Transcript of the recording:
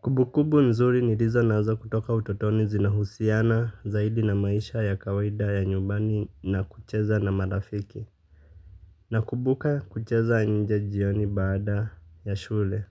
Kumbukumbu nzuri nilizo nazo kutoka utotoni zinahusiana zaidi na maisha ya kawiada ya nyumbani na kucheza na marafiki. Nakubuka kucheza nje jioni baada ya shule.